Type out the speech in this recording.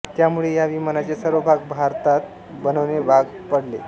त्यामुळे या विमानाचे सर्व भाग भारतात बनविणे भाग पडले